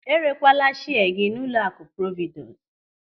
Erekwala shia gị n'ụlọakụ Providus.